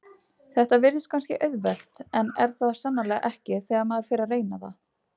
Þetta virðist kannski auðvelt en er það sannarlega ekki þegar maður fer að reyna það.